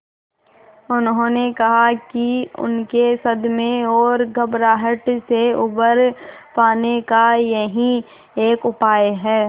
उन्होंने कहा कि उनके सदमे और घबराहट से उबर पाने का यही एक उपाय है